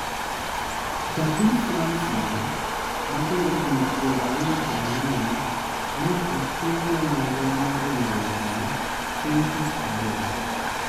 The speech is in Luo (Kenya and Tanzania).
Ja piny France no ma jahigni piero ariyo kod ang'wen ne otim ne nonro mar hinyruok no chieng' tich adek